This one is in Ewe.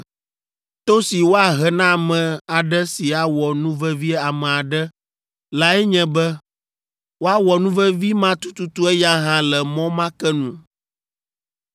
To si woahe na ame aɖe si awɔ nuvevi ame aɖe lae nye be woawɔ nuvevi ma tututu eya hã le mɔ ma ke nu: